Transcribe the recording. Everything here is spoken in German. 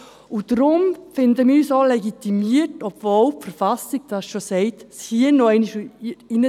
Deshalb finden wir, wir seien auch legitimiert, obwohl die BV dies schon sagt, dies hier noch einmal aufzuführen.